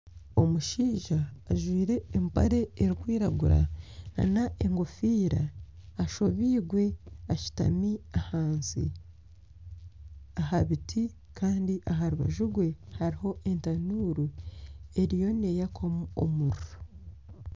Omushaija ajwaire empare erikwiragura nana engofiira, ashobeirwe ashutami ahansi aha biti. Kandi aha rubaju rwe hariho etanuru eriyo neyaka omuriro.